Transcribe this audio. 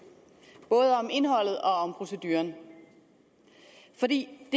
både om indholdet og om proceduren for det